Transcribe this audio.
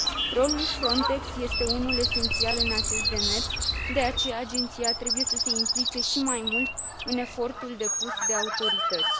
Rolul Frontex este unul esențial în acest demers, de aceea agenția trebuie să se implice și mai mult în efortul depus de autorități.